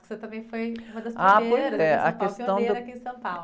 Você também foi uma das primeiras em São Paulo, pioneira aqui em São Paulo.h, pois é, a questão do...